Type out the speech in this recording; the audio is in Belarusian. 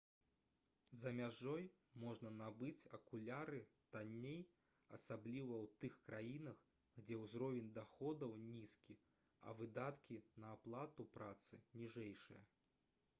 за мяжой можна набыць акуляры танней асабліва ў тых краінах дзе ўзровень даходаў нізкі а выдаткі на аплату працы ніжэйшыя